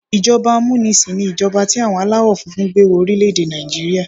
Ìjọba amúnisìn ni ìjọba tí àwọn aláwọ̀ funfun gbé wọ orílẹ̀-èdè Nàìjíríà.